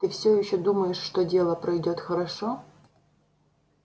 ты все ещё думаешь что дело пройдёт хорошо